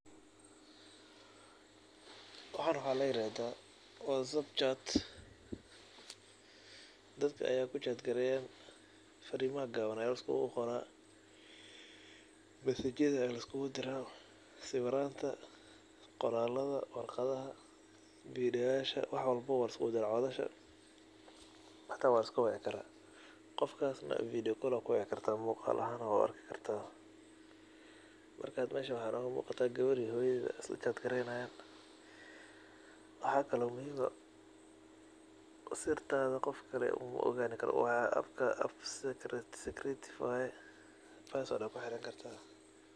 Waxan waxa laa iradha whatsapp chat daad aya ku chat kareya farimaha gawan aya laiskuqoraa message yadha aya laiskudaraa sawiranta qoraladha, wargadhaha video yasha wax walba aya laiskudaraa codhasha hata waa laiska waaci karaa qofkaas na video call aya kawici kartaa muqaal ahan waa u arki kartaa. Marka meesha waxa nooga muqda gawar iyo hooyadheda isla chat garenayan. Waxa kalo muhiim eeh sirta qofka kale mo oqani karoo app ka secretive waye password aya kuxirani kartaa.